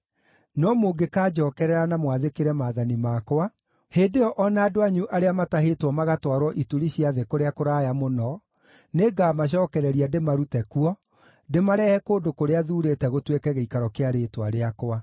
no mũngĩkanjookerera na mwathĩkĩre maathani makwa, hĩndĩ ĩyo o na andũ anyu arĩa maatahĩtwo magatwarwo ituri cia thĩ kũrĩa kũraya mũno, nĩngamacookereria ndĩmarute kuo, ndĩmarehe kũndũ kũrĩa thuurĩte gũtuĩke gĩikaro kĩa Rĩĩtwa rĩakwa.’